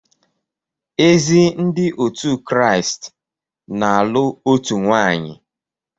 Ezi Ndị otu Kraịst na-alụ otu nwaanyị